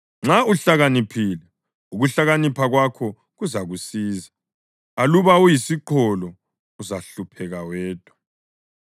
Nxa uhlakaniphile, ukuhlakanipha kwakho kuzakusiza; aluba uyisiqholo, uzahlupheka wedwa.